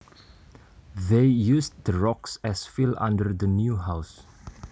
They used the rocks as fill under the new house